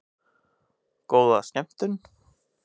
Góða skemmtun!